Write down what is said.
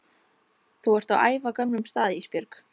Þú ert á ævagömlum stað Ísbjörg